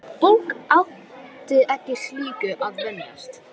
Fólk átti ekki slíku að venjast.